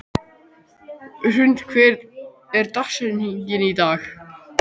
Hrund, hver er dagsetningin í dag?